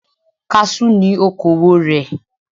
Kaṣú ni okowò rẹ̀.